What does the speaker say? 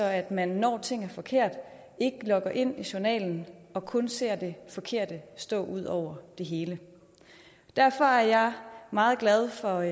at man når ting er forkerte ikke logger ind i journalen og kun ser det forkerte stå ud over det hele derfor er jeg meget glad for